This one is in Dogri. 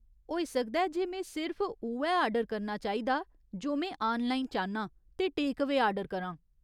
होई सकदा ऐ जे में सिर्फ उ'ऐ आर्डर करना चाहिदा जो में आनलाइन चाह्न्नां ते टेक अवेऽ आर्डर करां।